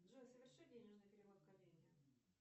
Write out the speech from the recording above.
джой соверши денежный перевод коллеге